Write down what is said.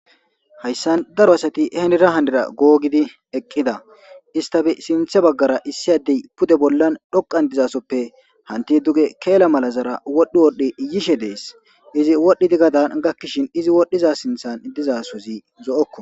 hayssan daro asati henira handira googidi eqqida istafe sinthe baggara issi addey pude bollan dhoqan dizasoppe hanti duge keela mala zara wodhi wodhdhi iyishe dees izi wodhidi gadan gakkishin izi wodhdhiza sinthan dizasozi zo7okko